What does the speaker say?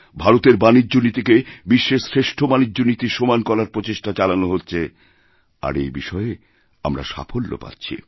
ভারতের বাণিজ্য নীতিকে বিশ্বের শ্রেষ্ঠবাণিজ্য নীতির সমান করার প্রচেষ্টা চালানো হচ্ছে আর এই বিষয়ে আমরা সাফল্য পাচ্ছি